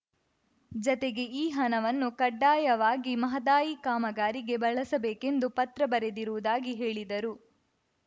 ಜತೆಗೆ ಈ ಹಣವನ್ನು ಕಡ್ಡಾಯವಾಗಿ ಮಹದಾಯಿ ಕಾಮಗಾರಿಗೆ ಬಳಸಬೇಕೆಂದು ಪತ್ರ ಬರೆದಿರುವುದಾಗಿ ಹೇಳಿದರು